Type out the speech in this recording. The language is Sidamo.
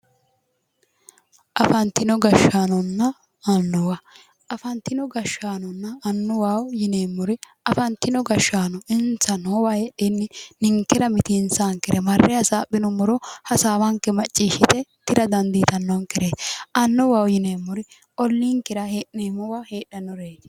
Afantino gashaanonna annuwa afantino gashaanonna annuwaho yineemmori afantino gashaano insa noowa heedhenni ninkera mitiinsaankere marre hasaaphinummoro hasaawanke macciishite tira dandiitannonkere annuwaho yineemmori ollinkera hee'neemmowa heedhannoreeti